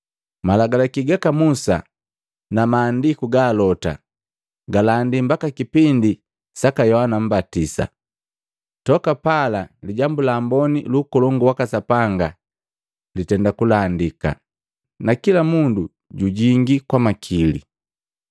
“Malagalaki gaka Musa na maandiku ga alota galandika mbaka kipindi saka Yohana Mmbatisa. Toka pala Lijambu la Amboni lu Ukolongu waka Sapanga litenda kulandika, na kila mundu jujingi kwa makili.